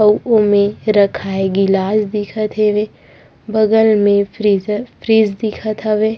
अउ ओमे रखाये गिलास दिखत हवे बगल में फ्रिजर फ्रिज दिखत हवे।